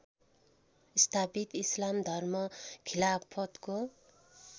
स्थापित इस्लाम धर्म खिलाफतको